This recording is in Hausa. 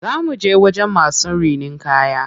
Za muje wajen masu rinin kaya.